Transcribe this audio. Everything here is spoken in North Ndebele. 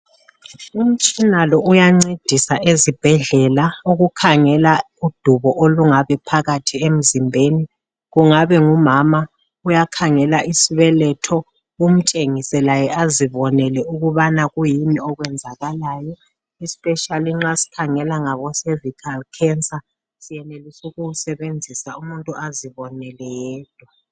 Umtshina lo uyancedisa ukukhangela udubo olungaba phakathi emzimbeni. Kungabe ngumama uyakhangela isibeletho umtshengise laye azibonele ukubana kuyini okwenzakalayo. Especially nxa sikhangela ngabo cervical cancer siyenelisu kuwusebenzisa umuntu azibonele yedwa.